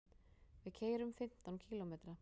Við keyrum fimmtán kílómetra.